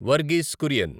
Verghese Kurian